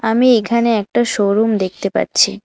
আমি এখানে একটা শোরুম দেখতে পাচ্ছি।